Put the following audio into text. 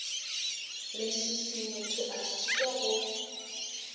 leswiswi motho a šitwa go